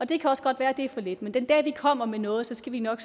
det kan også godt være at det er for lidt men den dag vi kommer med noget skal vi nok